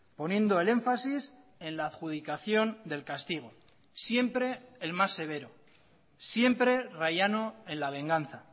poniendo el énfasis en la adjudicación del castigo siempre el más severo siempre rayano en la venganza